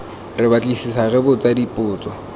re batlisisa re botsa dipotso